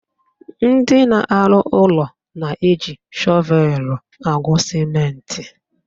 Ndị na-arụ ụlọ na-eji shọvelu agwa sịmentị